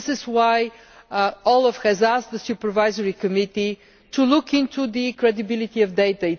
This is why OLAF has asked the Supervisory Committee to look into the credibility of data.